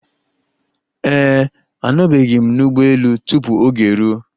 Ee e, anọbeghị m n'ụgbọ elu tupu oge eruo.